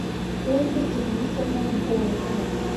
ольга ирнисовна волохова